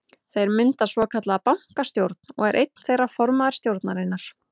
Þeir mynda svokallaða bankastjórn og er einn þeirra formaður stjórnarinnar.